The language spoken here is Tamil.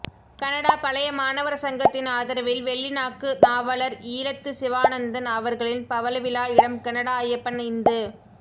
கனடா பழைய மாணவர் சங்கத்தின் ஆதரவில் வெள்ளி நாக்கு நாவலர் ஈழத்துச்சிவானந்தன் அவர்களின் பவளவிழா இடம் கனடா ஐயப்பன் இந்து